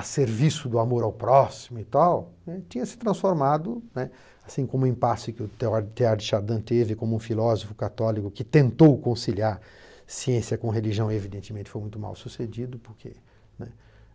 a serviço do amor ao próximo e tal, né, tinha se transformado, né, assim como o impasse que o Theodore de Chardin teve, como um filósofo católico que tentou conciliar ciência com religião, evidentemente foi muito mal sucedido, porque, né,